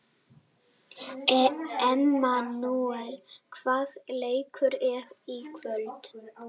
Emanúel, hvaða leikir eru í kvöld?